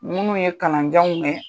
Minnu ye kalanjanw kɛ